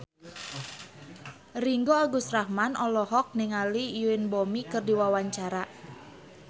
Ringgo Agus Rahman olohok ningali Yoon Bomi keur diwawancara